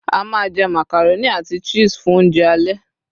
a ma je macaroni ati cheese fun ounjẹ ale